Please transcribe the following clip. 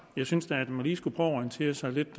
jeg synes da man lige skulle orientere sig lidt